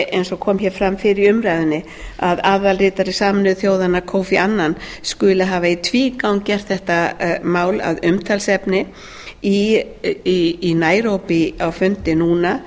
eins og kom hér fram fyrr í umræðunni að aðalritari sameinuðu þjóðanna kofi annan skuli hafa í tvígang gert þetta mál að umtalsefni í nairobí á fundi núna